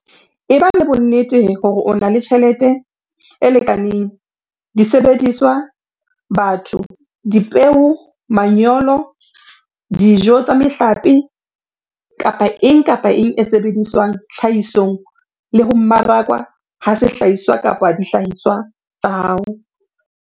Eba le bonnete hore o na le tjhelete e lekaneng, disebediswa, batho, dipeo, manyolo, dijo tsa mehlape, kapa eng kapa eng e sebediswang tlhahisong le ho mmarakwa ha sehlahiswa kapa dihlahiswa tsa hao.